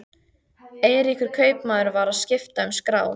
Eiríkur kaupmaður var að skipta um skrá.